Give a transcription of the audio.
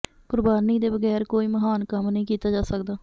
ਕੁਰਬਾਨੀ ਦੇ ਬਗੈਰ ਕੋਈ ਮਹਾਨ ਕੰਮ ਨਹੀਂ ਕੀਤਾ ਜਾ ਸਕਦਾ